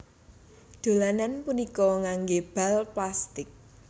Dolanan punika nganggé bal plastik